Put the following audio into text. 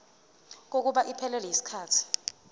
kokuba iphelele yisikhathi